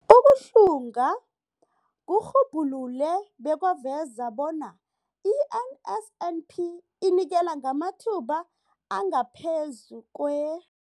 Ukuhlunga kurhubhulule bekwaveza bona i-NSNP inikela ngamathuba angaphezulu kwe-